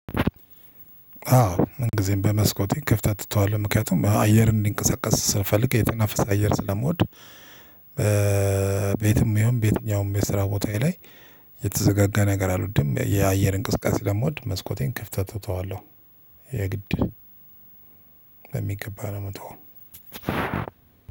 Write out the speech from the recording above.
አዎ ምን ጊዜም በመስኮቴ ክፍተት እተዋለው ምክንያቱም አየር እንዲንቀሳቀስ ስፈልግ የተናፈሰ አየር ስለምወድ። በየትም ይሁን በየትኛውም የስራ ቦታዬ ላይ የተዘጋጋ ነገር አልወድም የአየር እንቅስቃሴ ስለምወድ መስኮቴን ክፍተት እተዋለሁ። የግድ በሚገባ ነው እምተወው።